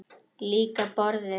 Líka borðið.